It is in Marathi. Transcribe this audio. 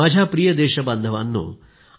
माझ्या प्रिय देशबांधवांनो